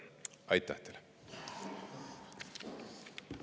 Aitäh teile!